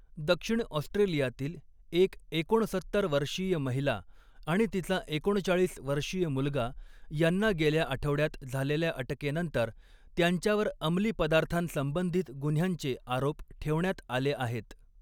दक्षिण ऑस्ट्रेलियातील एक एकोणसत्तर वर्षीय महिला आणि तिचा एकोणचाळीस वर्षीय मुलगा यांना गेल्या आठवड्यात झालेल्या अटकेनंतर त्यांच्यावर अमली पदार्थांसंबंधित गुन्ह्यांचे आरोप ठेवण्यात आले आहेत.